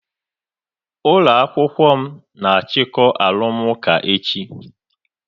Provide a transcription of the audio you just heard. Ụlọ akwụkwọ m na achiko arụmụka echi